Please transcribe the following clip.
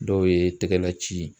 Dɔw ye tɛgɛna ci